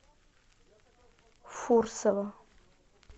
фурсова